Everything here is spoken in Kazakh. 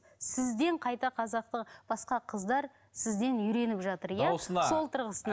сізден қайта қазақы басқа қыздар сізден үйреніп жатыр иә